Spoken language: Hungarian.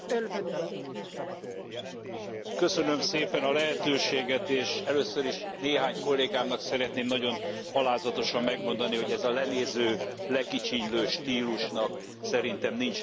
Köszönöm szépen a lehetőséget, és először is néhány kollégámnak szeretném nagyon alázatosan megmondani, hogy ennek a lenéző, lekicsinylő stílusnak szerintem nincs helye Albániával kapcsolatban sem.